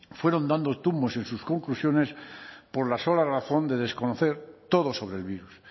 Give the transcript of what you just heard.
fueron dando tumbos en sus conclusiones por la sola razón de desconocer todo sobre el virus